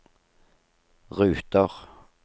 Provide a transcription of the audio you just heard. ruter